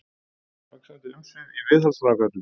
Vaxandi umsvif í viðhaldsframkvæmdum